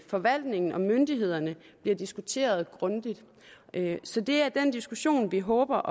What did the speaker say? forvaltningen og myndighederne bliver diskuteret grundigt så det er den diskussion vi håber